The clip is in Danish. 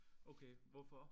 Okay hvorfor?